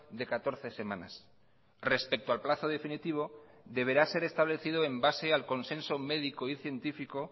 de catorce semanas respecto al plazo definitivo deberá ser establecido en base al consenso médico y científico